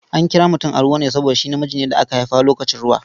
An kira mutum Aruwa ne saboda shi namiji ne da aka haifa lokacin ruwa.